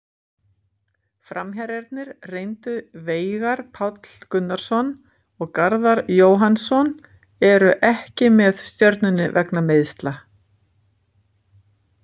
Framherjarnir reyndu Veigar Páll Gunnarsson og Garðar Jóhannsson eru ekki með Stjörnunni vegna meiðsla.